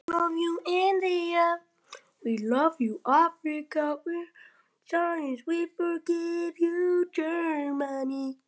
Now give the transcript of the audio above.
Þessar tölur eru í allgóðu samræmi við mat